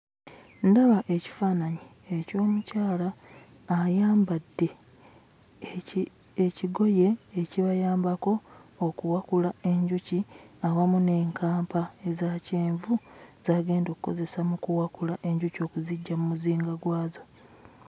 Ndaba ekifaananyi eky'omukyala ayambadde ekigoye ekibayambako okuwakula enjuki awamu n'enkampa eza kyenvu z'agenda okkozesa mu kuwakula enjuki okuziggya mu muzinga gwazo.